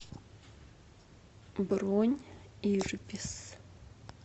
бронь ирбис